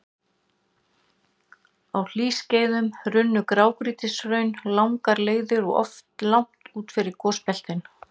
Á hlýskeiðum runnu grágrýtishraun langar leiðir og oft langt út fyrir gosbeltin.